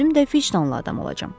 Özüm də fişdalı adam olacam.